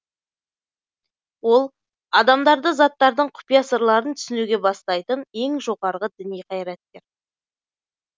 ол адамдарды заттардың құпия сырларын түсінуге бастайтын ең жоғарғы діни қайраткер